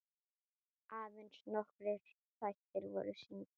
Aðeins nokkrir þættir voru sýndir.